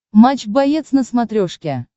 матч боец на смотрешке